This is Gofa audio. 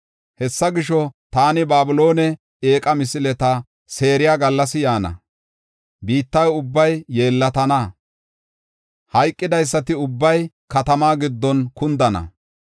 “Hessa gisho, taani Babiloone eeqa misileta seeriya gallasi yaana. Biitta ubbay yeellatana; hayqidaysati ubbay katamaa giddon kundana.